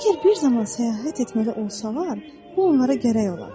Əgər bir zaman səyahət etməli olsalar, bu onlara gərək olar.